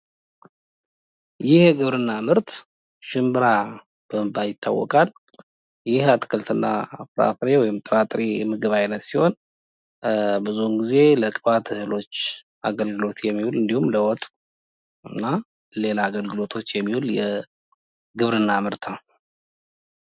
ይህ የግብርና ምርት ሽምብራ በመባል ይታወቃል ይህ የጥራጥሬ አይነት ሲሆን ብዙ ጊዜ ለቅባት እህሎች አገልግሎት የሚሆን የግብርና ምርትነ ነው።